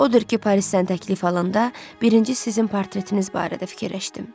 Odur ki, Parisdən təklif alanda birinci sizin portretiniz barədə fikirləşdim.